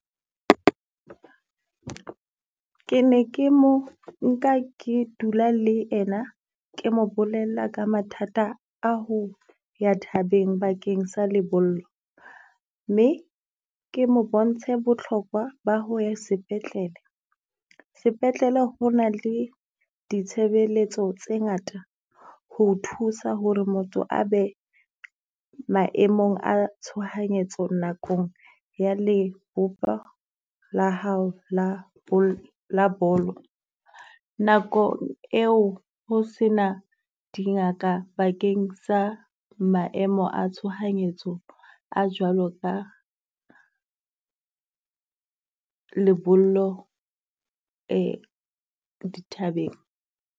Ke ne ke mo nka ke dula le ena ke mo bolella ka mathata a ho ya thabeng bakeng sa lebollo. Mme ke mo bontshe botlhokwa ba ho ya sepetlele. Sepetlele ho na le ditshebeletso tse ngata ho o thusa ho re motho a be maemong a tshohanyetso nakong ya lehoba la hao la la bolo. Nako eo ho se na dingaka bakeng sa maemo a tshohanyetso a jwalo ka lebollo dithabeng.